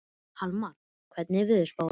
Hallmar, hvernig er veðurspáin?